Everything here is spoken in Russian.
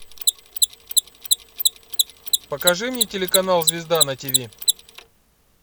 покажи мне телеканал звезда на ти ви